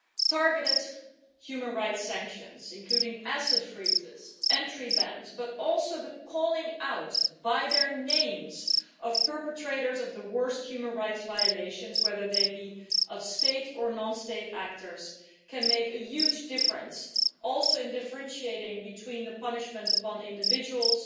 Targeted human rights sanctions, including asset freezes, entry bans and also the calling out by name of perpetrators of the worst human rights violations, whether they be state or non state actors, can make a huge difference, including in terms of differentiating between the punishment of individuals